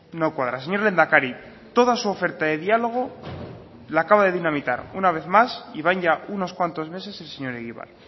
no cuadra señor lehendakari toda su oferta de diálogo la acaba de dinamitar una vez más y van ya unos cuantos meses el señor egibar